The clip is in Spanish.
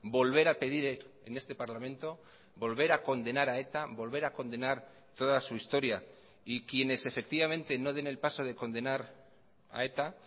volver a pedir en este parlamento volver a condenar a eta volver a condenar toda su historia y quienes efectivamente no den el paso de condenar a eta